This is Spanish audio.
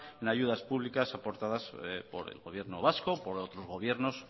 en ayudas públicas aportadas por el gobierno vasco por otros gobiernos